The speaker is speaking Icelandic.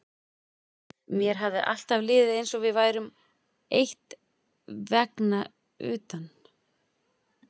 Mér hafði alltaf liðið eins og við værum eitt vegna utan